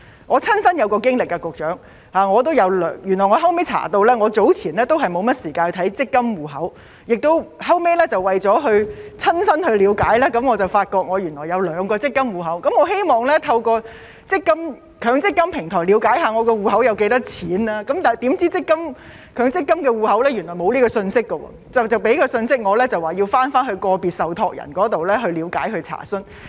局長，我有一個親身經歷：因為我之前也沒有時間管理自己的強積金戶口，後來為了親身了解，我才發現原來自己有兩個強積金戶口，而當我想透過強積金平台了解戶口有多少錢時，發現強積金戶口內原來是沒有這些信息的，只告訴我向個別受託人了解和查詢。